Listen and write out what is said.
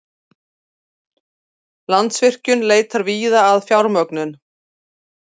Landsvirkjun leitar víða að fjármögnun